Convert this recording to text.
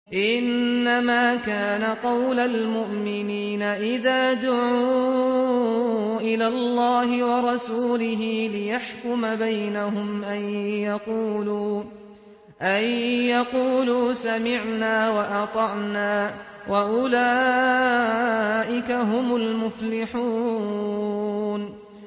إِنَّمَا كَانَ قَوْلَ الْمُؤْمِنِينَ إِذَا دُعُوا إِلَى اللَّهِ وَرَسُولِهِ لِيَحْكُمَ بَيْنَهُمْ أَن يَقُولُوا سَمِعْنَا وَأَطَعْنَا ۚ وَأُولَٰئِكَ هُمُ الْمُفْلِحُونَ